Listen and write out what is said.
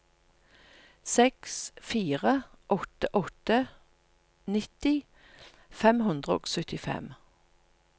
seks fire åtte åtte nitti fem hundre og syttifem